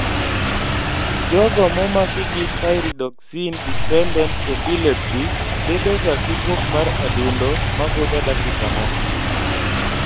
Jogo momaki gi pyridoxine dependent epilepsy bedo ga gi buok mar adundo mabudho dakika moko